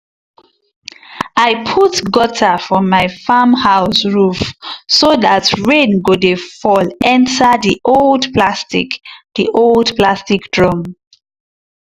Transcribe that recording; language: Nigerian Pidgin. i put gutter for my farm house roof so dat rain go dey fall enter di old plastic di old plastic drum.